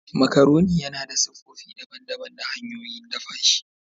Macaroni yana da siffofi daban-daban da hanyoyin dafa shi.